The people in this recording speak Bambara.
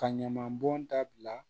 Ka ɲaman bɔn dabila